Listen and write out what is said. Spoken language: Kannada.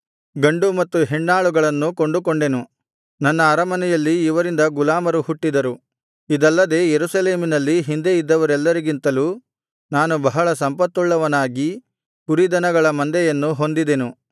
ಗಂಡು ಮತ್ತು ಹೆಣ್ಣಾಳುಗಳನ್ನು ಕೊಂಡುಕೊಂಡೆನು ನನ್ನ ಅರಮನೆಯಲ್ಲಿ ಇವರಿಂದ ಗುಲಾಮರು ಹುಟ್ಟಿದರು ಇದಲ್ಲದೆ ಯೆರೂಸಲೇಮಿನಲ್ಲಿ ಹಿಂದೆ ಇದ್ದವರೆಲ್ಲರಿಗಿಂತಲೂ ನಾನು ಬಹಳ ಸಂಪತ್ತುವುಳ್ಳವನಾಗಿ ದನಕುರಿಗಳ ಮಂದೆಯನ್ನು ಹೊಂದಿದೆನು